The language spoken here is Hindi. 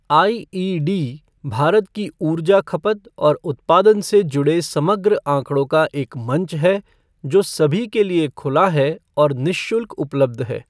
आईईडी, भारत की ऊर्जा खपत और उत्पादन से जुड़े समग्र आंकड़ों का एक मंच है जो सभी के लिए खुला है और निःशुल्क उपलब्ध है।